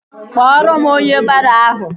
Kpọrọ m onye baro ahụ!